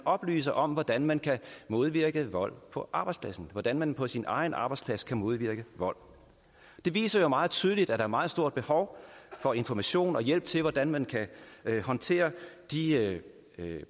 oplyser om hvordan man kan modvirke vold på arbejdspladsen og hvordan man på sin egen arbejdsplads kan modvirke vold det viser jo meget tydeligt at der meget stort behov for information og hjælp til hvordan man kan håndtere de